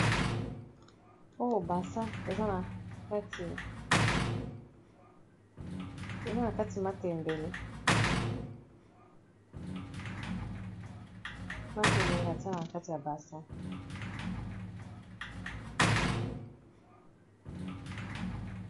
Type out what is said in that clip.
Oyo bassin eza na kati matembele, matembele batie na kati ya bassin.